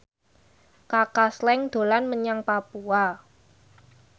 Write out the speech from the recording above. Kaka Slank dolan menyang Papua